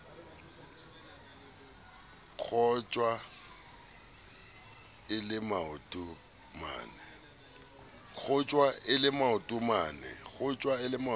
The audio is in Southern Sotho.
kgotjwa e le maoto mane